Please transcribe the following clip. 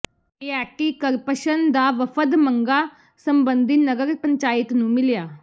anti corruption ਦਾ ਵਫ਼ਦ ਮੰਗਾਂ ਸਬੰਧੀ ਨਗਰ ਪੰਚਾਇਤ ਨੂੰ ਮਿਲਿਆ